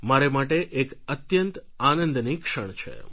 મારે માટે એક અત્યંત આનંદની ક્ષણ છે